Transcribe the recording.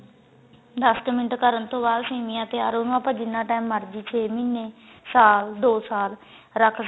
ਦੱਸ ਕ ਮਿੰਟ ਕਰਨ ਤੋਂ ਬਾਅਦ ਸੇਮੀਆਂ ਤਿਆਰ ਉਹਨੂੰ ਆਪਾਂ ਜਿੰਨਾ time ਮਰਜੀ ਛੇ ਮਹੀਨੇ ਸਾਲ ਦੋ ਸਾਲ ਰੱਖ